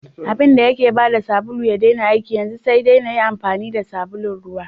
Abinda yake bada sabulu ya daina aiki, yanzu sai dai nayi amfani da sabulun ruwa.